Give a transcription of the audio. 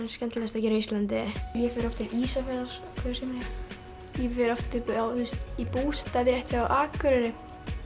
skemmtilegast að gera á Íslandi ég fer oft til Ísafjarðar ég fer oft upp í bústað rétt hjá Akureyri